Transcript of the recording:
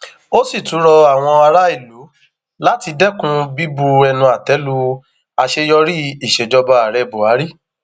ó sì tún rọ àwọn aráàlú láti dẹkun bíbu ẹnu àtẹ lu àṣeyọrí ìsejọba ààrẹ buhari